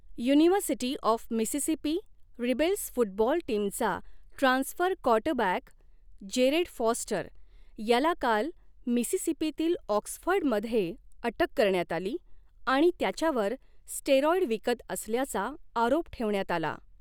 University of Mississippi Rebels football टीमचा transfer quarterback Jared Foster याला काल मिसिसिपीतील ऑक्सफर्डमध्ये अटक करण्यात आली आणि त्याच्यावर स्टेराॅईड विकत असल्याचा आरोप ठेवण्यात आला.